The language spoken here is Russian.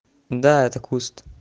да это куст